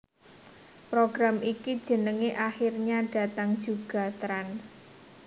Program iki jenenge Akhirnya Datang Juga Trans